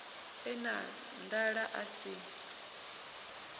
e na nḓala a si